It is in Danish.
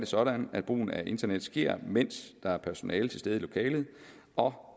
sådan at brugen af internet sker mens der er personale til stede i lokalet og